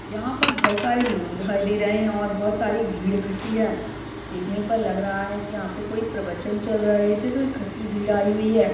यहाँ पर बहुत सारे लोग दिखाई दे रहे है और बहुत सारी भीड़ इखट्टी है देखने पर लग रहा है की यहाँ पे कोई प्रवचन चल रहे थे तो इखट्टी भीड़ आई हुई है।